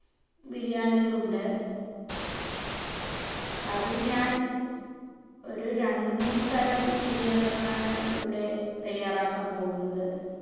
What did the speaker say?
ബിരിയാണികൾ ഉണ്ട് അതിൽ ഞാൻ ഒരു രണ്ട് മൂന്ന് തരം ബിരിയാണികൾ ആണ് ഇവിടെ തയ്യാറാക്കാൻ പോകുന്നത്